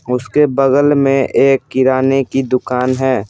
उसके बगल में एक किराने की दुकान है ।